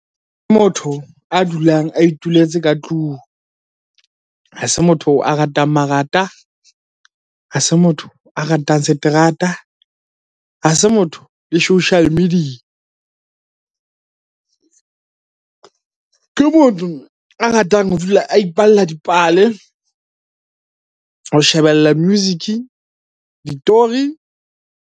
Ke motho a dulang a ituletse ka tlung. Ha se motho a ratang marata, ha se motho a ratang seterata, ha se motho le social media. Ke motho a ratang ho dula a ipalla dipale, ho shebella music, ditori.